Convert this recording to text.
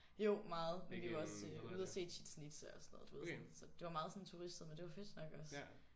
Jo meget men vi var også ude og se Chichén-Itzá og sådan noget du ved sådan så det var meget sådan turistet men det var fedt nok også